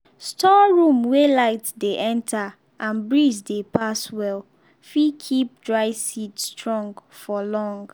store room wey light dey enter and breeze dey pass well fit keep dry seed strong for long.